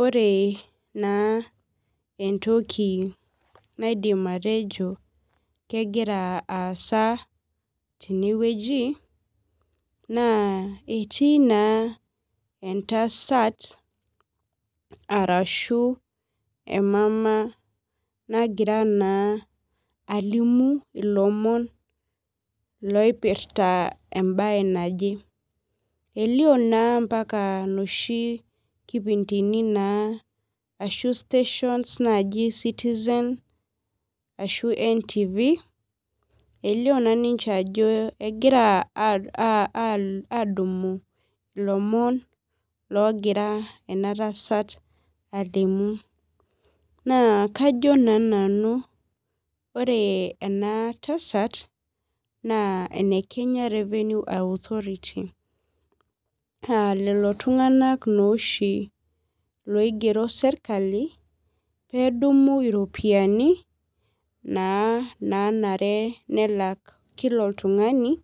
Ore na entoki naidim atejo kegira aaasa tenewueji na etii naa entasat arashu emama nagira alimu loipirta embae naje elio naa mbaka noshi kipindini naji citizen ashu ntv elio na ajo kegira adumu ilomon alimu naa kajo na nanu ore enatasat na ene kenya revenue authority na lolo tunganak oshi loigero serkali pedumu iropiyiani nanare nelak kila oltungani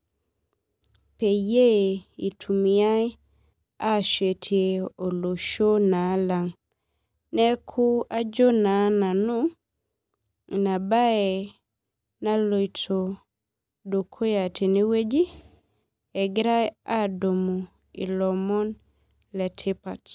peyie itumiai Ashetie olosho lang neaki ajo na nanu inabae naloito dukuya tenewueji egirai adumu lomon le tipat.